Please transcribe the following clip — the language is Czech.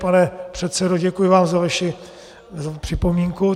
Pane předsedo, děkuji vám za vaši připomínku.